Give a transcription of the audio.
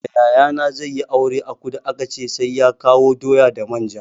Da yayana zai yi aure a kudu aka ce sai ya kawo doya da manja.